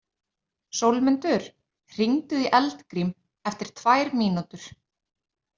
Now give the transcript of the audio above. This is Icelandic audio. Sólmundur, hringdu í Eldgrím eftir tvær mínútur.